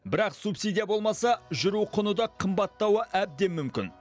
бірақ субсидия болмаса жүру құны да қымбаттауы әбден мүмкін